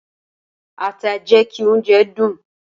Ata jẹ ki ounjẹ dun.